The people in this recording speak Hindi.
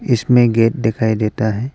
इसमें गेट दिखाई देता है।